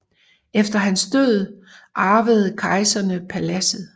Efter hans død var arvede kejserne paladset